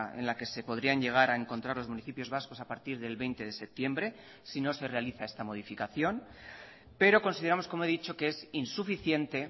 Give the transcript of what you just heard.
en la que se podrían llegar a encontrar los municipios vascos a partir del veinte de septiembre si no se realiza esta modificación pero consideramos como he dicho que es insuficiente